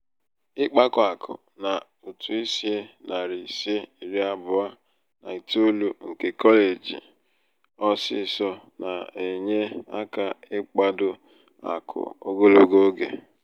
ịkpakọ akụ n'ụtụ ísì nari ise iri abụọ na itoolu nke kọleji ọsịsọ na-enye aka ịkpado akụ ogologo oge.